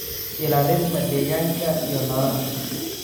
ilaalinta deegaanka iyo noolaha.